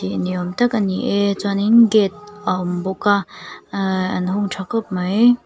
ni awm tak a ni e chuanin gate a awm bawk a ahh an hung tha khawp mai.